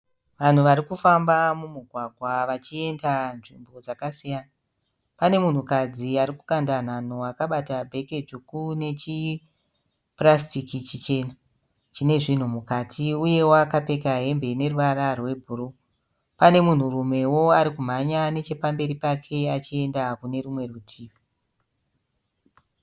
Vanhu varikufamba mumugwagwa vachienda nzvimbo dzakasiyana. Pane munhukadzi arikukanda nhanho akabata bheke dzvuku nechipurasitiki chichena chine zvinhu mukati uyewo akapfeka hembe ineruvara rwebhuruu. Pane munhurumewo arikumhanya nechepamberi pake achienda kunerumwe rutivi.